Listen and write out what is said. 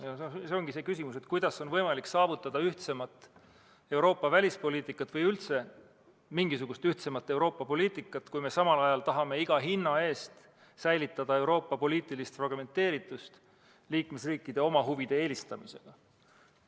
See on küsimus selle kohta, kuidas on võimalik saavutada ühtsemat Euroopa välispoliitikat või üldse mingisugust ühtsemat Euroopa poliitikat, kui me samal ajal tahame iga hinna eest säilitada Euroopa poliitilist fragmenteeritust liikmesriikide oma huvide eelistamisega.